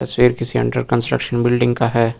तस्वीर किसी under construction building का है।